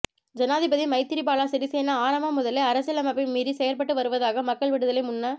ஜனாதிபதி மைத்திரிபால சிறிசேன ஆரம்பம் முதலே அரசியலமைப்பை மீறி செயற்பட்டு வருவதாக மக்கள் விடுதலை முன்ன